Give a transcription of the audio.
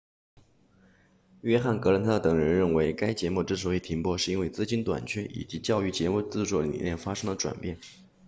约翰格兰特等人认为该节目之所以停播是因为资金短缺以及教育节目制作理念发生了转变